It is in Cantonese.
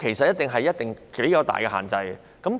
一定繼續實施頗大的限制。